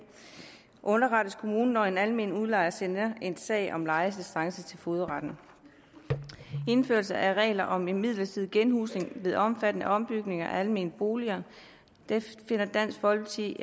underrettes kommunen når en almen udlejer sender en sag om lejerestance til fogedretten indførelse af regler om en midlertidig genhusning ved omfattende ombygninger af almene boliger dansk folkeparti